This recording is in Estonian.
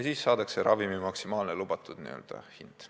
Nii saadakse ravimi maksimaalne lubatud hind.